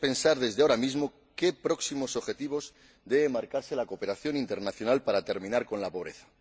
Debemos pensar desde ahora mismo qué próximos objetivos debe marcarse la cooperación internacional para terminar con la pobreza.